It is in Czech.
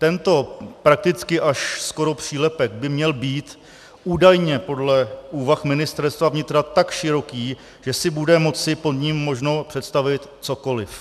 Tento prakticky až skoro přílepek by měl být údajně podle úvah Ministerstva vnitra tak široký, že si bude moci pod ním možno představit cokoliv.